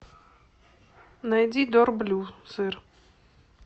найди дор блю сыр